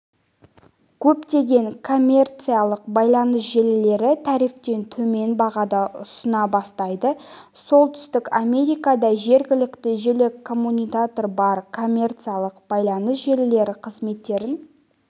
көптеген коммерциялық байланыс желілері тарифтен төмен бағада ұсына бастайды солтүстік америкада жергілікті желі коммутаторы бар коммерциялық байланыс желілері қызметтерін